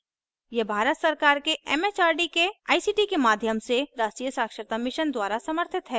यह भारत सरकार के एमएचआरडी के आईसीटी के माध्यम से राष्ट्रीय साक्षरता mission द्वारा समर्थित है